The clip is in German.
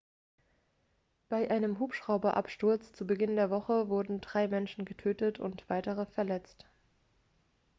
bei einem hubschrauberabsturz zu beginn der woche wurden drei menschen getötet und drei weitere verletzt